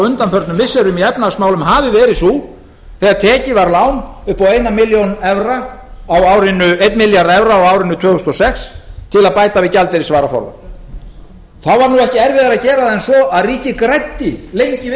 undanförnum missirum í efnahagsmálum hafi verið sú þegar tekið var lán upp á eina milljón evra á árinu tvö þúsund og sex til að bæta við gjaldeyrisvaraforðann þá var nú ekki erfiðara að gera það en svo að ríkið græddi lengi og